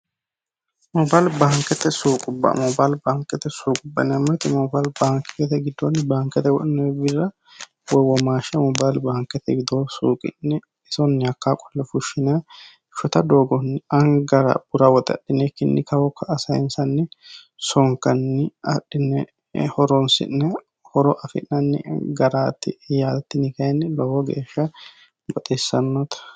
Mobile baankete suuquba. Mobile baankete suuquba yineemmo woyiite mobile baankete widoonni woxe baankete sayiisanni garaati yaate tinino lowonta baxissanote.